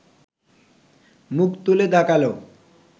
মুখ তুলে তাকাল